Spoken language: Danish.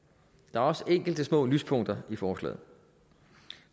der er også enkelte små lyspunkter i forslaget